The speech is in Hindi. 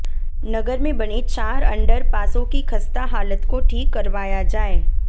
नगर मे बने चार अण्डर पासों की खस्ता हालत को ठीक करवाया जाए